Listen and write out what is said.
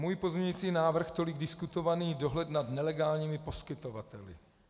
Můj pozměňující návrh tolik diskutovaný - dohled nad nelegálními poskytovateli.